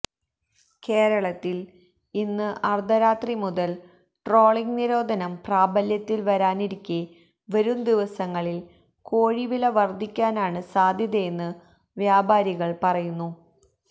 കേരളത്തില് ഇന്ന് അര്ധരാത്രി മുതല് ട്രോളിങ് നിരോധനം പ്രാബല്യത്തില് വരാനിരിക്കെ വരുംദിവസങ്ങളില് കോഴിവില വര്ധിക്കാനാണ് സാധ്യതയെന്ന് വ്യാപാരികള് പറയുന്നു